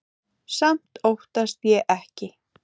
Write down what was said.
Samt óttast ég ekki.